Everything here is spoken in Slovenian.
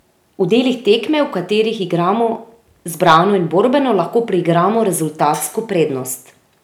V delih tekme, v katerih igramo zbrano in borbeno, lahko priigramo rezultatsko prednost.